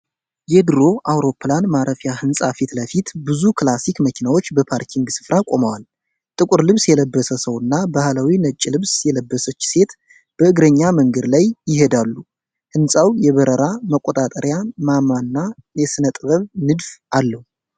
የድሮ አውሮፕላን ማረፊያ ሕንፃ ፊት ለፊት ብዙ ክላሲክ መኪናዎች በፓርኪንግ ስፍራ ቆመዋል። ጥቁር ልብስ የለበሰ ሰው እና ባህላዊ ነጭ ልብስ የለበሰች ሴት በእግረኛ መንገድ ላይ ይሄዳሉ። ሕንፃው የበረራ መቆጣጠሪያ ማማና የሥነ ጥበብ ንድፍ አለው።